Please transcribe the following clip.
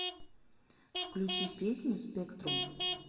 включи песню спектрум